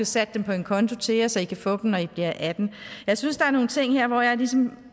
sat dem på en konto til jer så i kan få dem når i bliver atten år jeg synes der er nogle ting her hvor jeg ligesom